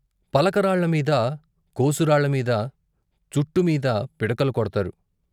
పలకరాళ్ళ మీద, కోసు రాళ్ళ మీద, చట్టు మీద పిడకలు కొడ్తారు.